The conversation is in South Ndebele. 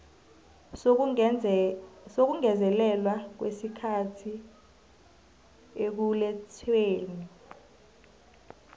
sokungezelelwa kwesikhathi ekulethweni